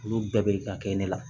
Olu bɛɛ bɛ ka kɛ ne la